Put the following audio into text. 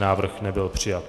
Návrh nebyl přijat.